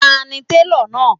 Ta ni télọ̀ náà?